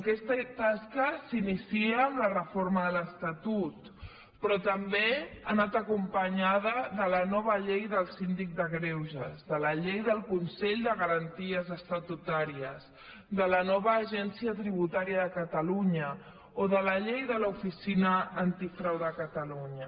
aquesta tasca s’inicia amb la reforma de l’estatut però també ha anat acompanyada de la nova llei del síndic de greuges de la llei del consell de garanties estatutàries de la nova agència tributària de catalunya o de la llei de l’oficina antifrau de catalunya